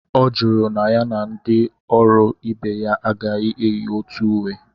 Ọ jụrụ na ya na ndị ọrụ ibe ya agaghi enyi otu uwe